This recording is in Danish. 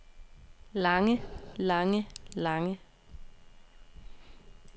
lange lange lange